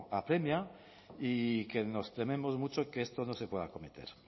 apremia y que nos tememos mucho que esto no se pueda acometer